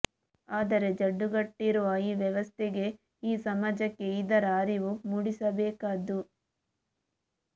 ಆದರೆ ಜಡ್ಡುಗಟ್ಟಿರುವ ಈ ವ್ಯವಸ್ಥೆಗೆ ಈ ಸಮಾಜಕ್ಕೆ ಇದರ ಅರಿವು ಮೂಡಿಸಬೇಕಾದ್ದು